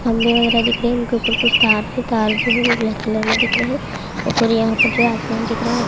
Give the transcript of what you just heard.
खम्बे वगेरा दिख रहे हैंउनके ऊपर कुछ तार भी हैं। तार जो है वो ब्लैक कलर में दिख रहा हैं। ऊपर यहाँ पे जो है आसमान दिख रहा है।